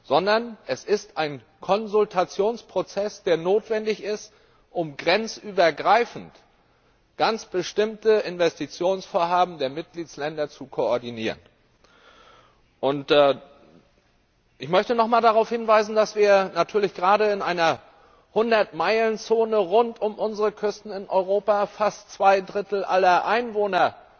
sondern es ist ein Konsultationsprozess, der notwendig ist, um grenzübergreifend ganz bestimmte Investitionsvorhaben der Mitgliedstaaten zu koordinieren. Ich möchte noch einmal darauf hinweisen, dass bei uns natürlich gerade in einer Hundertmeilenzone rund um unsere Küsten in Europa fast zwei Drittel aller Einwohner